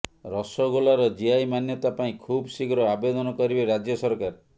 ରସଗୋଲାର GI ମାନ୍ୟତା ପାଇଁ ଖୁବ୍ ଶୀଘ୍ର ଆବେଦନ କରିବେ ରାଜ୍ୟ ସରକାର